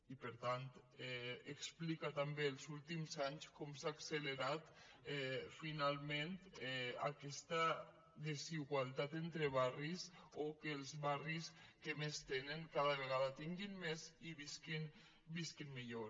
i per tant explica també els últims anys com s’ha accelerat finalment aquesta desigualtat entre barris o que els barris que més tenen cada vegada tinguin més i visquin millor